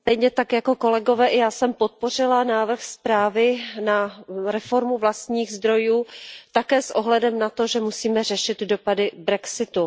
Pane předsedající, stejně jako kolegové i já jsem podpořila návrh zprávy na reformu vlastních zdrojů také s ohledem na to, že musíme řešit dopady brexitu.